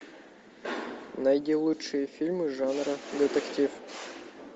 найди лучшие фильмы жанра детектив